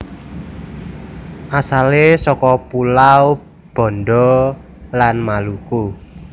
Asale saka pulau Banda lan Maluku